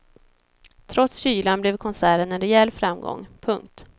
Trots kylan blev konserten en rejäl framgång. punkt